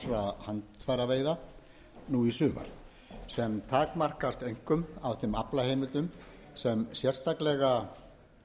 vegar skipan frjálsra handfæraveiða nú í sumar sem takmarkast einkum af þeim aflaheimildum sem sérstaklega verður ráðstafað til